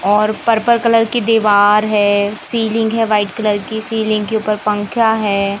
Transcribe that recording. और purple colour की दीवार है सीलिंग है वाइट कलर की सीलिंग के ऊपर पंखा है।